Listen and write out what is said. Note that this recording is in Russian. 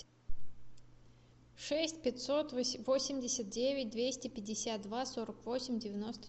шесть пятьсот восемьдесят девять двести пятьдесят два сорок восемь девяносто